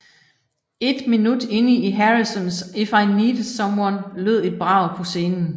Et minut ind i Harrisons If I needed someone lød et brag på scenen